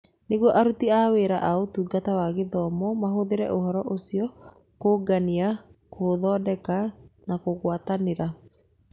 Nĩguo aruti a wĩra a Ũtungata wa Gĩthomo mahũthĩre ũhoro ũcio kũũngania, kũũthondeka na kũgwatanĩra.